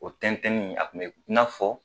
O tɛntɛnni a kun be i nafɔ